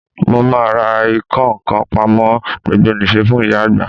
mo máa ra ìkó ǹkan pamọ́ gbogbonise fún ìyá agba